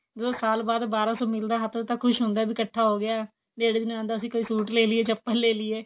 ਜਦੋ ਸਾਲ ਬਾਅਦ ਬਾਰਾਂ ਸੋ ਮਿਲਦਾ ਹੱਥੋਂ ਹੱਥ ਤਾਂ ਖੁਸ਼ ਹੁੰਦਾ ਵੀ ਇੱਕਠਾ ਹੋ ਗਿਆ ਕੋਈ suit ਲੇ ਲੀਏ ਚੱਪਲ ਲੇ ਲੀਏ